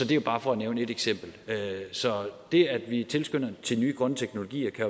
det er bare for at nævne ét eksempel så det at vi tilskynder til nye grønne teknologier kan